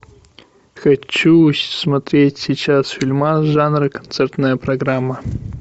хочу смотреть сейчас фильмас жанра концертная программа